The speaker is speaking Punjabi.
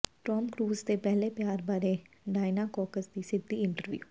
ਟਾਮ ਕ੍ਰੂਜ ਦੇ ਪਹਿਲੇ ਪਿਆਰ ਬਾਰੇ ਡਾਇਨਾ ਕੋਕਸ ਦੀ ਸਿੱਧੀ ਇੰਟਰਵਿਊ